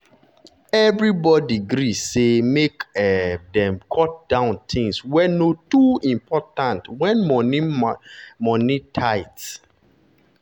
everybody gree say make um dem cut down things wey no too important when money money tight.